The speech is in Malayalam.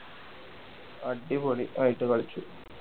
അടിപൊളി ആയിട്ട് കളിച്ചു